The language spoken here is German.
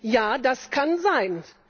Ja, das kann sein.